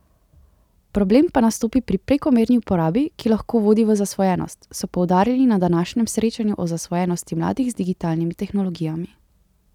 Problem pa nastopi pri prekomerni uporabi, ki lahko vodi v zasvojenost, so poudarili na današnjem srečanju o zasvojenosti mladih z digitalnimi tehnologijami.